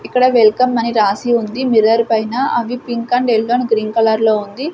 ఇక్కడ వెల్కమ్ అని రాసి ఉంది మిర్రర్ పైన అవి pink and yellow and green కలర్లో ఉంది.